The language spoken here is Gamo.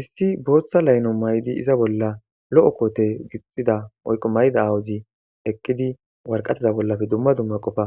issi booththa laynlo maydi iza bolla lo7o koote gixxida oyqo mayda awuzi eqqidi warqateza bollafe dumma dumma qofa